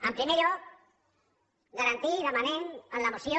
en primer lloc garantir demanem en la moció